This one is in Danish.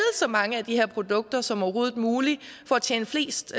så mange af de her produkter som overhovedet muligt for at tjene flest